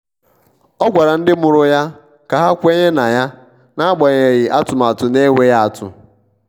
ọ gwara ndị mụrụ ya ka ha kwere na yan'agbanyeghi atụmatụ na-enweghị atụ.